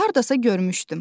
Hardasa görmüşdüm.